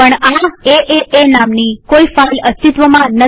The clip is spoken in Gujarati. પણ એએ નામની કોઈ ફાઈલ અસ્તિત્વમાં નથી